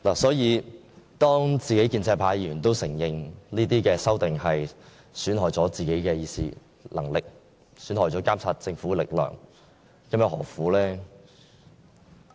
所以，當建制派議員亦承認有關修訂會損害自己的議事職能及監察政府的力量，這又何苦呢？